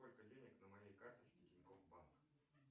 сколько денег на моей карточке тинькофф банк